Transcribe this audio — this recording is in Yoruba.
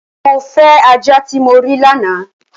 Mọ̀ ń fẹ̀ ajá tí mó rí lána!